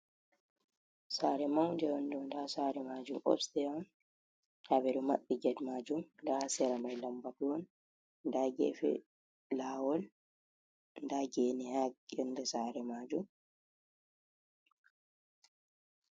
Sare maunde on ɗo nda sare majum obste on nda ɓe ɗo maɓɓi ged majum, nda sera mai lambatu on nda gefe lawol nda gene ha yonde sare majum.